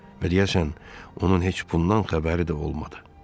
Biriyəşən, onun heç bundan xəbəri də olmadı.